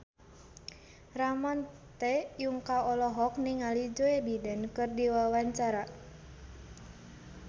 Ramon T. Yungka olohok ningali Joe Biden keur diwawancara